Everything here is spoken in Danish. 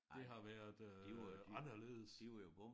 Det har været øh anderledes